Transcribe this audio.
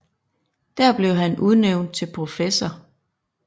Der blev han udnævnt til professor